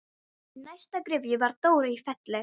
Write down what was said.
Í næstu gryfju var Dóra í Felli.